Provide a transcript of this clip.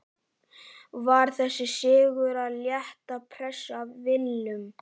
Var þessi sigur að létta pressu af Willum?